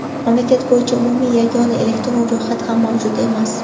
Mamlakat bo‘yicha umumiy yagona elektron ro‘yxat ham mavjud emas.